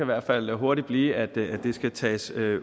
hvert fald hurtigt blive at det skal tages